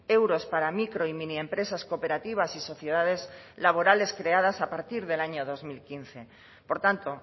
euros para micro y mini empresas cooperativas y sociedades laborales creadas a partir del año dos mil quince por tanto